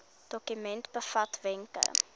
dokument bevat wenke